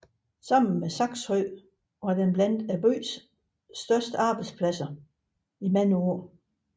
Sammen med Saxenhøj var den blandt byens største arbejdspladser i mange år